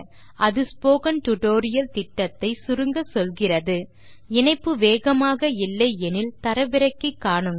அது spoken tutorial திட்டத்தை சுருங்கச்சொல்கிறது இணைப்பு வேகமாக இல்லை எனில் தரவிறக்கி காணுங்கள்